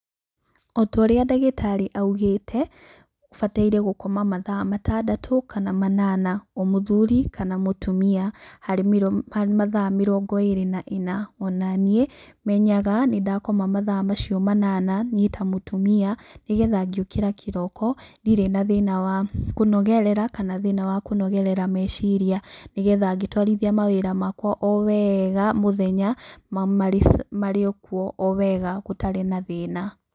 O ta ũrĩa ndagĩtarĩ augĩte, bataire gũkoma mathaa matandatũ kana manana, ta mũthuri kana mũtumia, harĩ mathaa mĩrongo ĩĩrĩ na ĩna. O na niĩ menyaga nĩ ndakoma mathaa macio manana, niĩ ta mũtumia, nĩ getha ngĩũkĩra kĩroko, ndirĩ na thĩna wa kũnogerera kana thĩna wa kũnogerera meciria. Nĩ getha ngĩtwarithia maũndũ makwa o wega mũthenya, marĩ o kuo o wega gũtarĩ na thĩna.